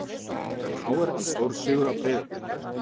KR vann stórsigur á Breiðabliki